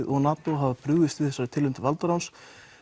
og NATO á þessari tilraun til valdaráns